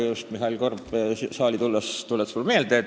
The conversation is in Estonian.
Just Mihhail Korbi saali tulek tuletas seda mulle meelde.